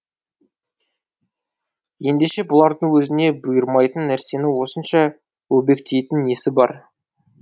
ендеше бұлардың өзіне бұйырмайтын нәрсені осынша өбектейтін несі бар